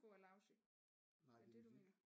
Få er lousy er det det du mener